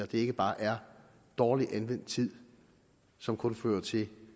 det ikke bare er dårligt anvendt tid som kun fører til